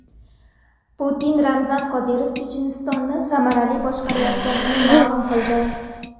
Putin Ramzan Qodirov Chechenistonni samarali boshqarayotganini ma’lum qildi .